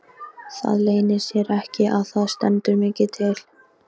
Það leynir sér ekki að það stendur mikið til.